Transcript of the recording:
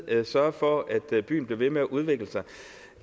sørger for at byen bliver ved med at udvikle sig